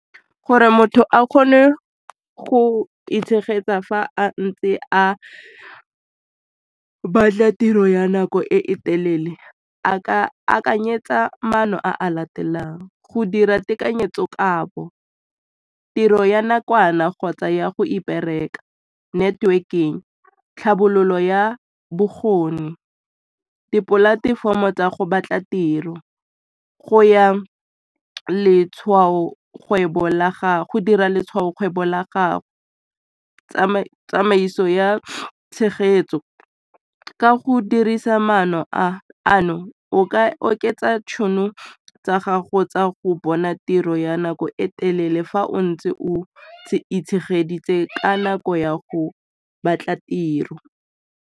Gore motho a kgone go itshegetsa fa a ntse a batla tiro ya nako e telele a ka akanyetsa maano a latelang go dira tekanyetso kabo, tiro ya nakwana kgotsa ya go iperekela, networking, tlhabololo ya bokgoni, dipolatefomo tsa go batla tiro, go dira letshwaokgwebo la gago, tsamaiso ya tshegetso ka go dirisa maano a ano o ka oketsa tšhono tsa gago tsa go bona tiro ya nako e telele fa o ntse o itshegeletse ka nako ya go batla tiro.